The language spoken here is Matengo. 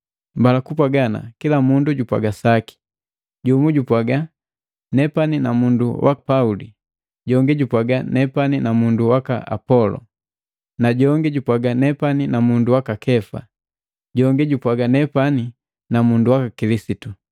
Mbala kupwaga ana, kila mundu jupwaga saki. Jumu jupwaga, “Nepani na mundu wa Pauli.” Njongi jupwaga, “Nepani na mundu waka Apolo.” Na jongi jupwaga, “Nepani na mundu waka Kefa.” Jongi jupwaga, “Nepani na mundu waka Kilisitu.”